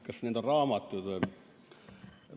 Kas need on raamatud või?